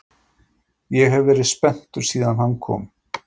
Ég hef verið spenntur síðan hann kom.